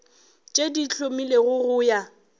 tše di hlomilwego go ya